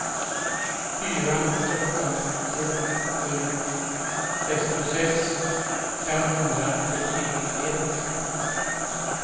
fyra åtta ett sju sextiosex femhundrasjuttioett